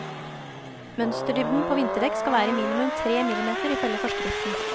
Mønsterdybden på vinterdekk skal være minimum tremillimeter, ifølge forskriften.